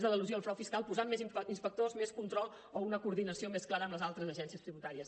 d’elusió i frau fiscal posant més inspectors més control o una coordinació més clara amb les altres agències tributàries